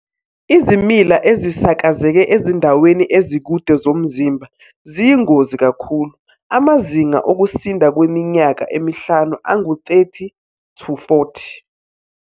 Izimila ezisakazeke ezindaweni ezikude zomzimba ziyingozi kakhulu, amazinga okusinda kweminyaka emihlanu angu-30-40.